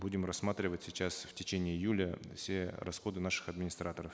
будем рассматривать сейчас в течение июля все расходы наших администраторов